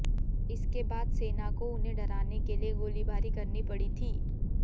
इसके बाद सेना को उन्हें डराने के लिए गोलीबारी करनी पड़ी थी